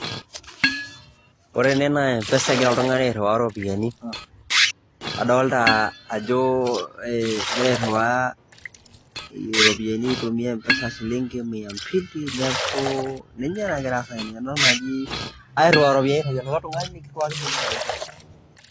Ore ene naa e mpesa igira oltung'ani airiwaa iropiani adolta ajo egira airiwaa iropiani aitumia e mpesa shillingi mia mbili, neeku ninye nagira aasa tene tenewueji airiwaa iropiani airiwaki likai tung'ani niriwaki sininye olikai.